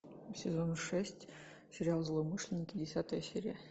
сезон шесть сериал злоумышленники десятая серия